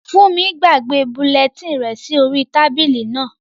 Fúnmi gbàgbé bulẹtínì rẹ̀ sí orí tábìlì náà